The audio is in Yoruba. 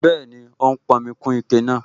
Bẹ́ẹ̀ni, ó ń pọnmi kún ike náà